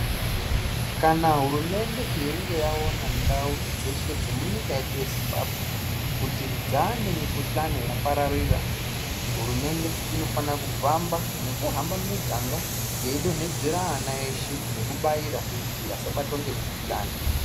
Kana hurumende yeinge yaona ndau dzeshe dzemunyika yedu yeZimbabwe, kuti dzaane mikhuhlani yakapararira, hurumende inofana kufamba nekuhamba mumiganga yeidonhedzera ana eshe nekubaira kuti asabatwa ngemukhuhlane.